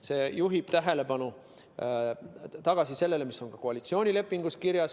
See juhib tähelepanu tagasi sellele, mis on ka koalitsioonilepingus kirjas.